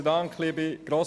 Und denken Sie daran: